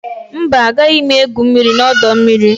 Mba, agaghị m egwu mmiri na ọdọ mmiri